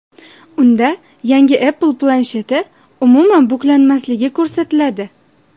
Unda yangi Apple plansheti umuman buklanmasligi ko‘rsatiladi.